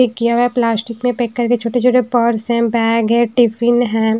ये किया हुआ प्लास्टिक में पैक करके छोटे छोटे पर्स है बैग है टिफिन है।